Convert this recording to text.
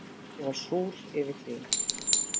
Ég var súr yfir því.